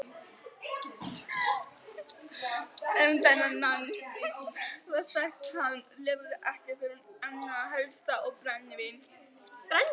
Um þennan mann var sagt að hann lifði ekki fyrir annað en hesta og brennivín.